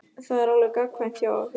Það er alveg gagnkvæmt hjá okkur.